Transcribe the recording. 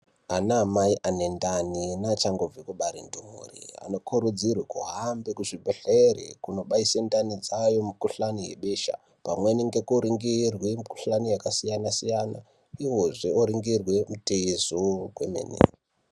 Anamai anendani neachangobve kubare ndumure anokurudzirwe kuhambe kuzvibhedhere kunobaise ndani dzawo mikhuhlane yebesha pamwe nekuringirwe mikhuhane yakasiyana-siyana uyezve woringirwe mitezo kwemene.